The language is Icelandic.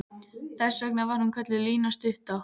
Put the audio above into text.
Þess vegna var hún kölluð Lína stutta.